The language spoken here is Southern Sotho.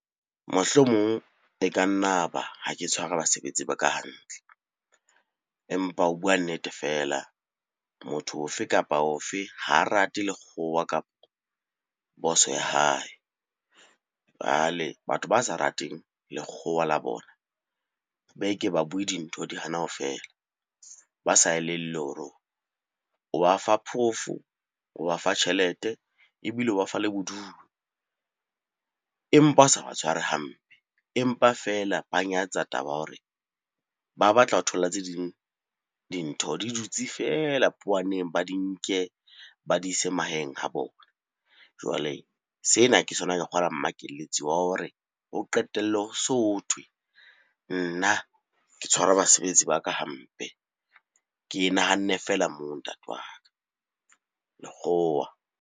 Mohlomong e ka nna ba ha ke tshware basebetsi ba ka hantle, empa ho bua nnete feela motho o fe kapa o fe ha rate lekgowa kapo boss-o ya hae. Jwale batho ba sa rateng lekgowa la bona be ke ba bue dintho di hana ho fela ba sa elellwe hore rona o ba fa phoofo, o ba fa tjhelete, ebile o ba fa le bodumo empa o sa ba tshware hampe. Empa feela ba nyatsa taba ya hore ba batla ho thola tse ding dintho di dutse feela powaneng, ba di nke ba di ise mahaeng a bona. Jwale sena ke sona ka kgolwa mmakelletse wa hore ho qetellwe ho so thwe nna ke tshwara basebetsi ba ka hampe. Ke e nahanne feela moo ntate wa ka, lekgowa.